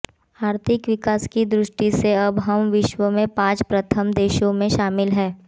आर्थिक विकास की दृष्टि से अब हम विश्व के पांच प्रथम देशों में शामिल हैं